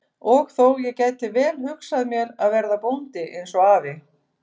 Og þó, ég gæti vel hugsað mér að verða bóndi eins og afi.